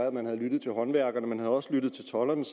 at man havde lyttet til håndværkerne og også lyttet til tolderne